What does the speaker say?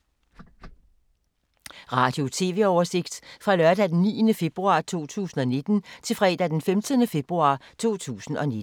Radio/TV oversigt fra lørdag d. 9. februar 2019 til fredag d. 15. februar 2019